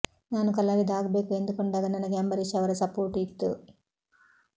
ನಾನು ಕಲಾವಿದ ಆಗ್ಬೇಕು ಎಂದುಕೊಂಡಾಗ ನನಗೆ ಅಂಬರೀಶ್ ಅವರ ಸಪೂರ್ಟ್ ಇತ್ತು